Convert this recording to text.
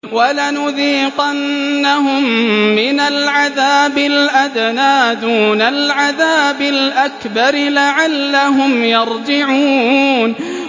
وَلَنُذِيقَنَّهُم مِّنَ الْعَذَابِ الْأَدْنَىٰ دُونَ الْعَذَابِ الْأَكْبَرِ لَعَلَّهُمْ يَرْجِعُونَ